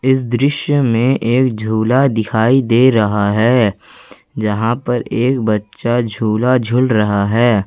इस दृश्य में एक झूला दिखाई दे रहा है जहां पर एक बच्चा झूला झूल रहा है।